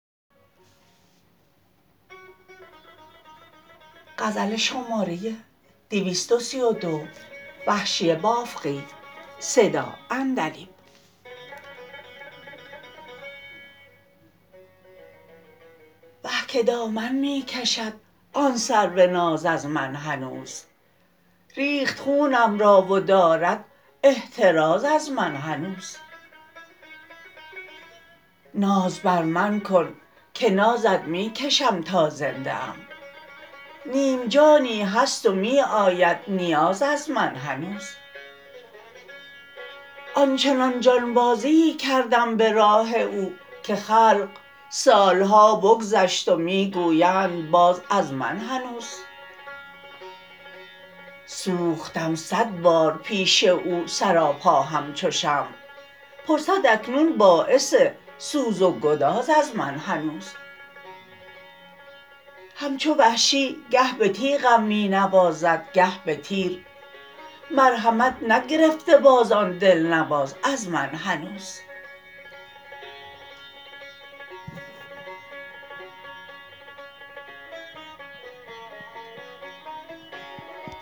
وه که دامن می کشد آن سرو ناز از من هنوز ریخت خونم را و دارد احتراز از من هنوز ناز بر من کن که نازت می کشم تا زنده ام نیم جانی هست و می آید نیاز از من هنوز آنچنان جانبازیی کردم به راه او که خلق سال ها بگذشت و می گویند باز از من هنوز سوختم سد بار پیش او سراپا همچو شمع پرسد اکنون باعث سوز و گداز از من هنوز همچو وحشی گه به تیغم می نوازد گه به تیر مرحمت نگرفته باز آن دلنواز از من هنوز